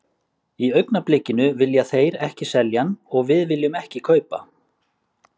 Í augnablikinu vilja þeir ekki selja hann og við viljum ekki kaupa.